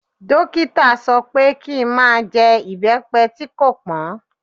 Dókítà sọ pé kí i má jẹ ibepe tí kò pọn.